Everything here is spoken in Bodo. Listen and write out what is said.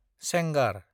सेंगार